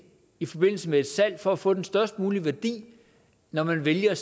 i forbindelse med et salg for at få den størst mulige værdi når man vælger at